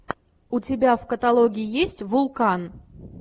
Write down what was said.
у тебя в каталоге есть вулкан